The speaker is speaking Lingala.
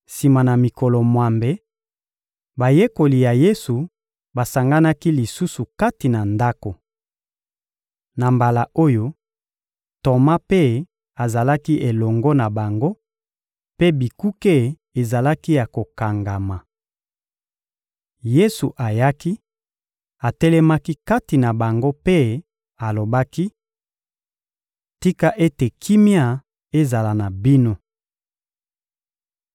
Sima na mikolo mwambe, bayekoli ya Yesu basanganaki lisusu kati na ndako. Na mbala oyo, Toma mpe azalaki elongo na bango, mpe bikuke ezalaki ya kokangama. Yesu ayaki, atelemaki kati na bango mpe alobaki: — Tika ete kimia ezala na bino!